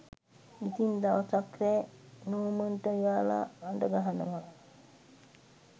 ඉතින් දවසක් රෑ නෝමන්ට එයාල අඩගහනව